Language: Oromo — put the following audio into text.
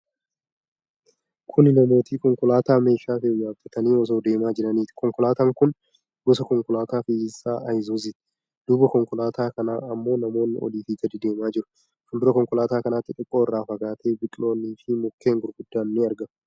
Kuni namooti konkolaataa meeshaa fe'u yaabbatanii osoo deemaa jiraniiti. Konkolaataan kun gosa konkolaataa fe'iisaa Ayizuuzuuti. Duuba konkolaataa kanaa ammoo namoonni oliif gadi deemaa jiru. Fuuldura konkolaataa kanatti, xiqqoo irraa fagaatee biqiloonni fi mukkeen gurguddoon ni argamu.